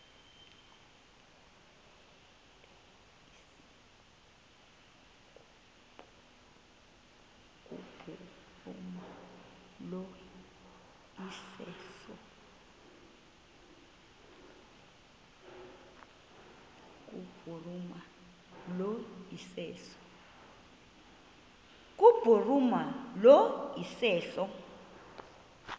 kubhuruma lo iseso